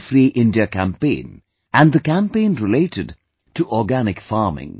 Free India campaign & the campaign related to Organic farming